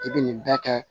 I bɛ nin bɛɛ kɛ